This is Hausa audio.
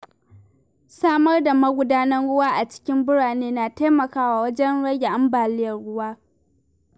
Samar da magudanan ruwa a cikin birane na taimakawa wajen rage ambaliyar ruwa.